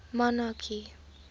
monarchy